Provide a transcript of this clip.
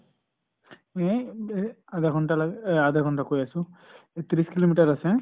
আধা ঘন্টা লাগে আহ আধা ঘন্টা লাগে কৈ আছো ত্ৰিছ kilo meter আছে